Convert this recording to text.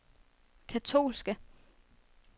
katolske